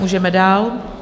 Můžeme dál.